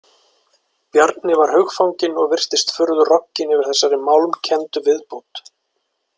Bjarni var hugfanginn og virtist furðu rogginn yfir þessari málmkenndu viðbót.